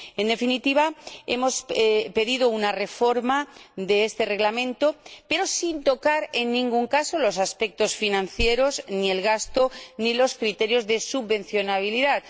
En definitiva, hemos pedido una reforma de este Reglamento, pero sin tocar, en ningún caso, los aspectos financieros ni el gasto ni los criterios de subvencionabilidad.